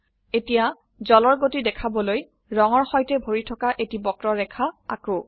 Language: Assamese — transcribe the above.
এতিয়া জলৰ গতি দেখাবলৈ ৰঙৰ সৈতে ভৰি থকা এটি বক্ৰ ৰেখা আঁকো